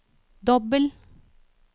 dobbel